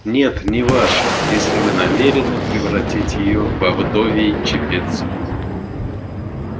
нет не ваша если вы намерены превратить её во вдовий чепец